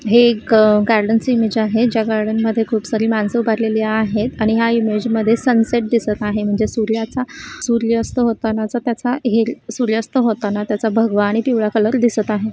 हे एक गार्डन ची इमेज आहे ज्या गार्डन मध्ये खूप सारी मानस उभारलेली आहेत आणि या इमेज मध्ये सन्सेट ही दिसता आहे म्हणजे सूर्याचा सूर्यास्त होतानाचा त्याचा हे सूर्यास्त होताना त्याचा भगवा आणि पिवळा कलर दिसत आहे.